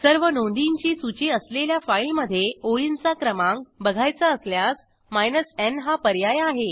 सर्व नोंदींची सूची असलेल्या फाईलमधे ओळींचा क्रमांक बघायचा असल्यास माइनस न् हा पर्याय आहे